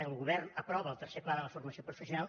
el govern aprova el ter·cer pla de la formació professional